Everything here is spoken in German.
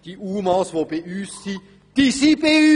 Die UMA, die bei uns sind, sind bei uns!